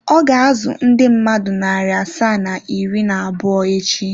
Ọ ga-azụ ndị mmadụ narị asaa na iri na abụọ echi.